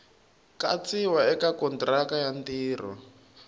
katsiwa eka kontiraka ya ntirho